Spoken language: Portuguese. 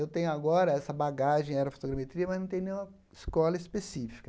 Eu tenho agora essa bagagem em aerofotogrametria, mas não tenho nenhuma escola específica.